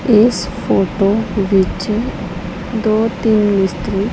ਇਸ ਫੋਟੋ ਵਿੱਚ ਦੋ ਤਿੰਨ ਮਿਸਤਰੀ--